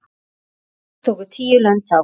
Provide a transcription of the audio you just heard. Alls tóku tíu lönd þátt.